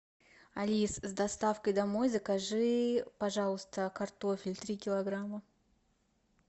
алис с доставкой домой закажи пожалуйста картофель три килограмма